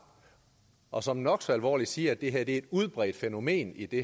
og som nok så alvorligt siger at det her er et udbredt fænomen i det